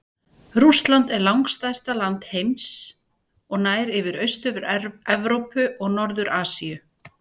Rússland er langstærsta land heims og nær yfir Austur-Evrópu og Norður-Asíu.